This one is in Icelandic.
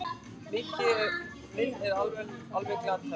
Minn er alveg glataður.